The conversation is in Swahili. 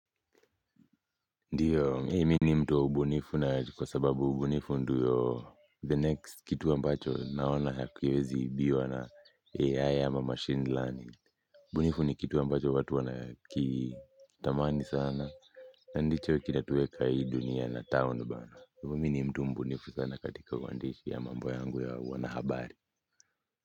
Ndio, mi ni mtu wa ubunifu na kwa sababu ubunifu ndio the next kitu ambacho naona hakwezi ibiwa na AI ama machine learning. Ubunifu ni kitu ambacho watu wanakitamani sana. Na ndicho kinatueka hii dunia na town bana. Hivo mi ni mtu mbunifu sana katika uandishi ya mambo yangu ya wanahabari.